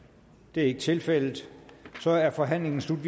det er ikke tilfældet så er forhandlingen sluttet